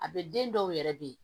A bɛ den dɔw yɛrɛ de